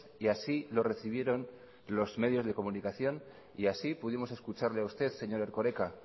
y así lo recibieron los medios de comunicación y así pudimos escucharle a usted señor erkoreka